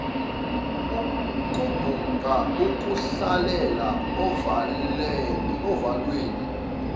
ukubhuqa ukuhlalela ovalweni